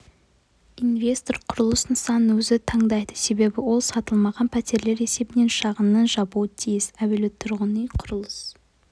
инвестор құрылыс нысанын өзі таңдайды себебі ол сатылмаған пәтерлер есебінен шығынын жабуы тиіс әуелі тұрғын үй-құрылыс